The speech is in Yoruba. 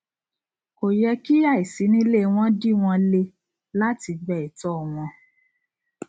kò yẹ kí àìsínílé wọn dí wọn le láti gba ẹtọ wọn